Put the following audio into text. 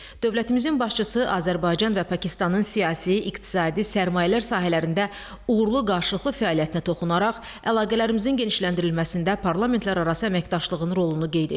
Dövlətimizin başçısı Azərbaycan və Pakistanın siyasi, iqtisadi, sərmayələr sahələrində uğurlu qarşılıqlı fəaliyyətinə toxunaraq əlaqələrimizin genişləndirilməsində parlamentlərarası əməkdaşlığın rolunu qeyd etdi.